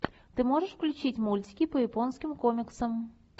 ты можешь включить мультики по японским комиксам